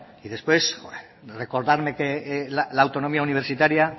y después recordarme que la autonomía universitaria